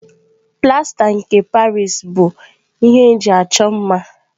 Plasta nke Paris (P.O.P) bụ ihe eji achọ mma.